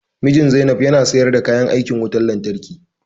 Mijin Zainab ya na sayar da kayan aikin wutan lantarki